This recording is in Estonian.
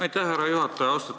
Aitäh, härra juhataja!